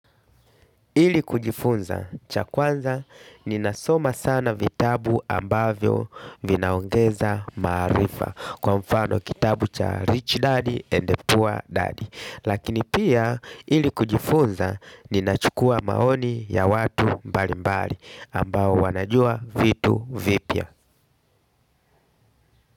Ili kujifunza, cha kwanza ninasoma sana vitabu ambavyo vinaongeza maarifa. Kwa mfano kitabu cha rich daddy and the poor daddy, lakini pia ili kujifunza ninachukua maoni ya watu mbali mbali ambao wanajua vitu vipya.